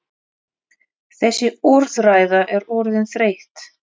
Þessi orðræða er orðin þreytt!